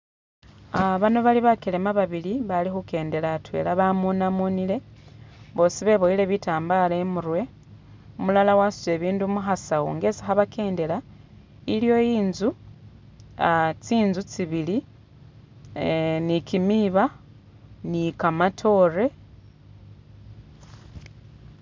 Ah bano bali bakelema babili bali khukendela atwela bamunamunile, bosi beboyile bitambala imurwe, umulala wasutile bindu mu khasawu nga isi khabakendela, iliwo inzu ah tsinzu tsibili eh ni kimiiba, ni kamatoore.